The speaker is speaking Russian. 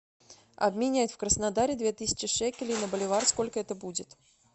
обменять в краснодаре две тысячи шекелей на боливар сколько это будет